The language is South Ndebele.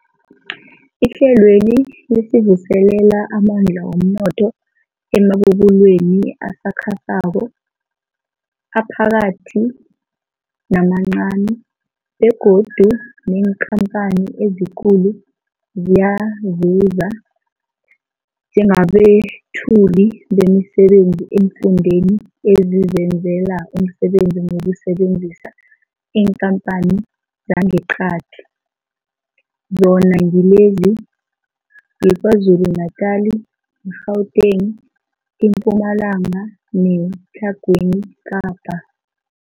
Ihlelweli livuselela amandla womnotho emabubulweni asakhasako, aphakathi namancani begodu neenkhamphani ezikulu ziyazuza njengabethuli bemisebenzi eemfundeni ezizenzela umsebenzi ngokusebenzisa iinkhamphani zangeqadi, zona ngilezi, yiKwaZulu Natala, i-Gauteng, iMpumalanga neTlhagwini Kapa.